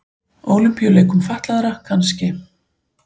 Ólympíuleikum fatlaðra kannski.